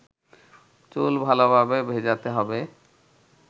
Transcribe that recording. চুল ভালোভাবে ভেজাতে হবে